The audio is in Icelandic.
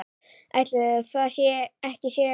Ætli það ekki segir hann.